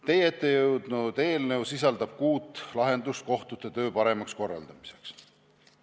Teie ette jõudnud eelnõu sisaldab kuut lahendust kohtute töö paremaks korraldamiseks.